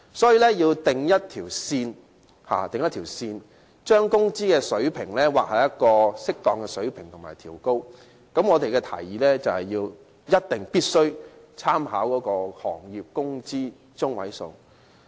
所以，政府應劃定一條線，把工資水平調升至適當水平，而我們的建議是政府必須參考有關行業的工資中位數。